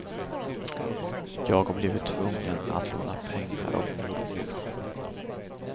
Jag har blivit tvungen att låna pengar av mormor.